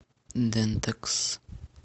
дентекс